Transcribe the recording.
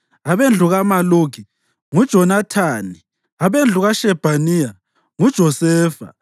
abendlu kaMaluki, nguJonathani; abendlu kaShebhaniya, nguJosefa;